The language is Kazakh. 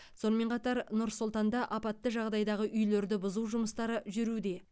сонымен қатар нұр сұлтанда апатты жағдайдағы үйлерді бұзу жұмыстары жүруде